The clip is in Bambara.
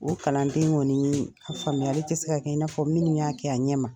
O kalanden kɔni ye a faamuyali tɛ se ka kɛ i n'a fɔ minnu y'a kɛ a ɲɛ ma.